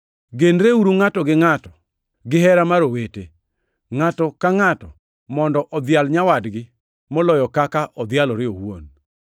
Genreuru ngʼato gi ngʼato gihera mar owete. Ngʼato ka ngʼato mondo odhial nyawadgi moloyo kaka odhialore owuon.